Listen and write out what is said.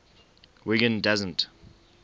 wiggin doesn t